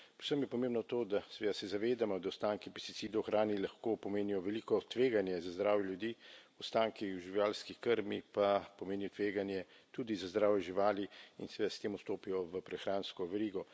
Predvsem je pomembno to, da seveda se zavedamo, da ostanki pesticidov v hrani lahko pomenijo veliko tveganje za zdravje ljudi, ostanki v živalski krmi pa pomenijo tveganje tudi za zdravje živali in seveda s tem vstopijo v prehransko verigo.